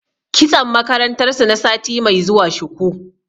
Kitson makarantar su na sati mai zuwa shuku.